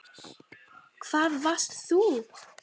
Hvar varst þú???